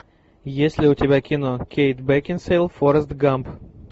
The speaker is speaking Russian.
есть ли у тебя кино кейт бекинсейл форрест гамп